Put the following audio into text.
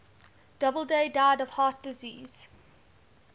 doubleday died of heart disease